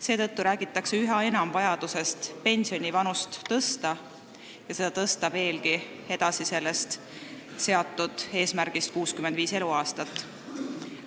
Seetõttu räägitakse üha enam vajadusest pensionivanust tõsta ja seda veelgi edasi seni seatud eesmärgist 65 eluaastat.